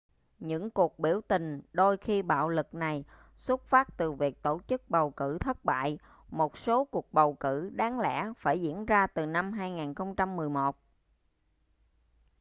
những cuộc biểu tình đôi khi bạo lực này xuất phát từ việc tổ chức bầu cử thất bại một số cuộc bầu cử đáng lẽ phải diễn ra từ năm 2011